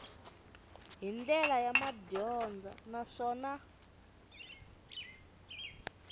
hi ndlela ya madyondza naswona